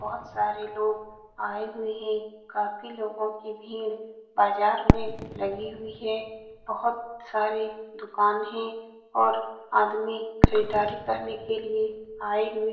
बहुत सारे लोग आए हुए हैं काफी लोगो की भीड़ बाजार में लगी हुई है बहुत सारे दुकान हैं और आदमी खरीदारी करने के लिए आए हुए --